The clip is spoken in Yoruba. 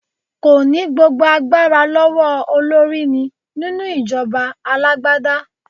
Kò ní gbogbo agbára lọ́wọ́ olórí ní nínú ìjọba alágbádá.